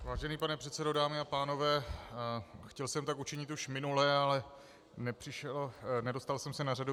Vážený pane předsedo, dámy a pánové, chtěl jsem tak učinit už minule, ale nedostal jsem se na řadu.